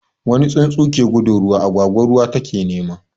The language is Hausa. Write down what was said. Wani tsuntsu ke gudun ruwa, agwagwa ruwa take nema.